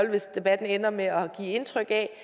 hvis debatten ender med at give indtryk af